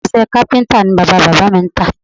Irinṣẹ́ kápíntà ni bàbá-bàbá mi ń tà